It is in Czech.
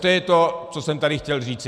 To je to, co jsem tady chtěl říci.